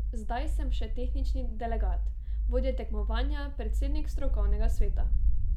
Zdaj sem še tehnični delegat, vodja tekmovanja, predsednik strokovnega sveta.